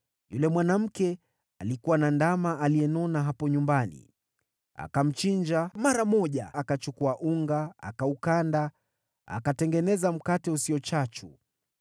Yule mwanamke alikuwa na ndama aliyenona hapo nyumbani, akamchinja mara moja. Akachukua unga, akaukanda, akatengeneza mkate usio chachu.